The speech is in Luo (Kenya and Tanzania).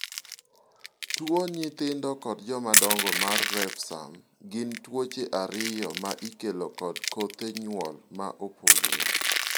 tuo nyithindo kod joma dongo mar refsum gi tuoche ariyo ma ikelo kod kothe nyuol ma opogore